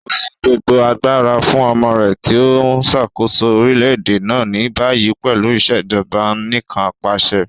O fi gbogbo agbara fun ọmọ rẹ ti o nṣakoso orilẹ-ede na ni bayi pẹlu Ìṣèjọba Anìkanpàṣẹ.